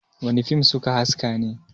wane fim suka haske ne!?